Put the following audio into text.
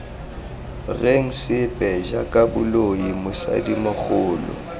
reng sepe jaaka boloi mosadimogolo